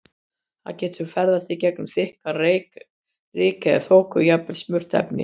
Það getur ferðast í gegnum þykkan reyk, ryk eða þoku og jafnvel sum efni.